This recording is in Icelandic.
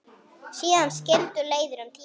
Síðan skildu leiðir um tíma.